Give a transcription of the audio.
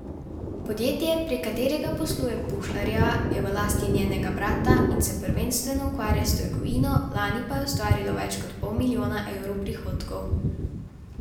Podjetje, prek katerega posluje Pušlarjeva, je v lasti njenega brata in se prvenstveno ukvarja s trgovino, lani pa je ustvarilo več kot pol milijona evrov prihodkov.